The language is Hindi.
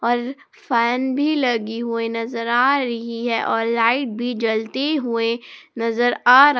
और फैन भी लगी हुई नजर आ रही है और लाइट भी जलती हुए नजर आ रहा--